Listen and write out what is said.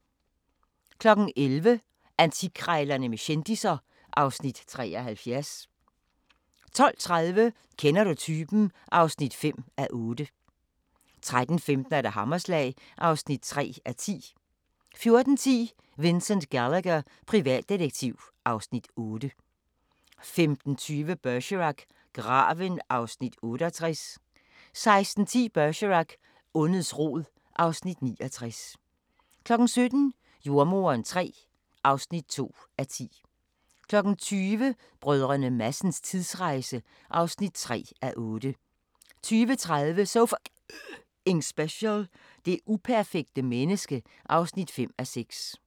11:00: Antikkrejlerne med kendisser (Afs. 73) 12:30: Kender du typen? (5:8) 13:15: Hammerslag (3:10) 14:10: Vincent Gallagher, privatdetektiv (Afs. 8) 15:20: Bergerac: Graven (Afs. 68) 16:10: Bergerac: Ondets rod (Afs. 69) 17:00: Jordemoderen III (2:10) 20:00: Brdr. Madsens tidsrejse (3:8) 20:30: So F***ing Special: Det uperfekte menneske (5:6) 21:00: Madmagasinet